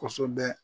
Kosɛbɛ